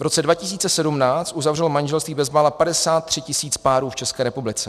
V roce 2017 uzavřelo manželství bezmála 53 tisíc párů v České republice.